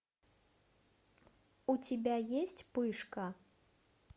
у тебя есть пышка